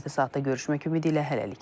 Növbəti saatda görüşmək ümidi ilə hələlik.